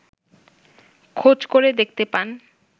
খোঁজ করে দেখতে পান